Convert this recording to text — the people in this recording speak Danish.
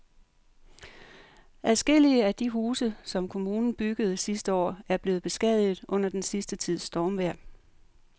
Adskillige af de huse, som kommunen byggede sidste år, er blevet beskadiget under den sidste tids stormvejr.